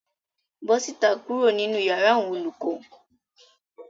Bó síta kuro ninu iyàrá àwọn olùkọ.